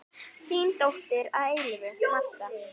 Þín dóttir að eilífu, Marta.